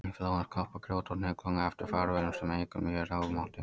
Í flóðum skoppa grjót og hnullungar eftir farveginum sem eykur mjög rofmáttinn.